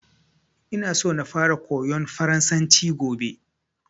Ina so na fara koyan farasanci gobe